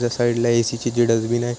Left side ला AC. ची ती डस्टबिन हाय.